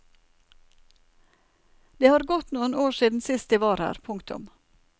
Det har gått noen år siden sist de var her. punktum